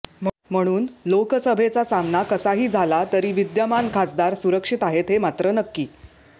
म्हणुन लोकसभेचा सामना कसाही झाला तरीही विद्यमान खासदार सुरक्षित आहेत हे मात्र नक्की